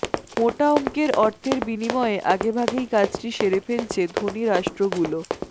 মোটা অংকের অর্থের বিনিময়ে আগেভাগেই কাজটি সেরে ফেলছে ধনী রাষ্ট্রগুলো